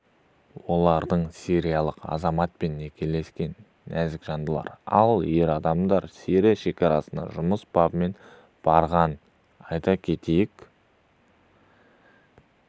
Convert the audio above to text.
олардың сириялық азаматпен некелескен нәзік жандылар ал ер адам сирия шекарасына жұмыс бабымен барған айта кетейік